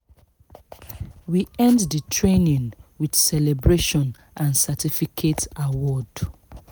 we end the training with celebration and certificate award